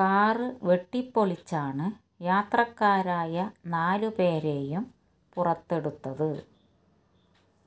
കാര് വെട്ടിപ്പൊളിച്ചാണു യാത്രക്കാരായ നാലുപേരെയും പുറത്തെടുത്തത്